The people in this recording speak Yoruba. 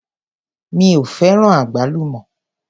Mi ò fẹ́ràn àgbálùmọ́.